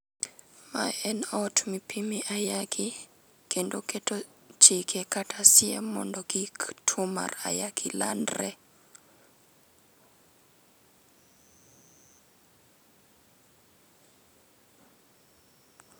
Ma en ot mipime ayaki kendo keto chike kata siem mondo kik tuo mara ayaki landre